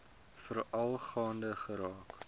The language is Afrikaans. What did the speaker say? veral gaande geraak